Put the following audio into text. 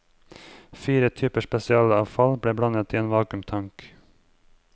Fire typer spesialavfall ble blandet i en vakuumtank.